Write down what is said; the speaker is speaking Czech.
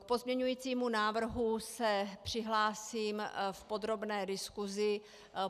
K pozměňujícímu návrhu se přihlásím v podrobné diskusi.